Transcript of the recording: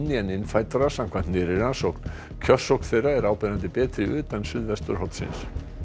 en innfæddra samkvæmt nýrri rannsókn kjörsókn þeirra er áberandi betri utan suðvesturhornsins